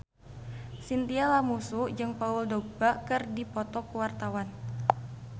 Chintya Lamusu jeung Paul Dogba keur dipoto ku wartawan